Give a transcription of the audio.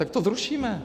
Tak to zrušíme.